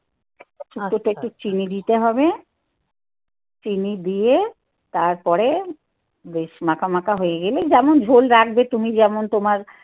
শুক্তো তে একটু চিনি দিতে হবে. চিনি দিয়ে তারপরে বেশ মাখামাখা হয়ে গেলে যেমন ঝোল রাখবে তুমি যেমন তোমার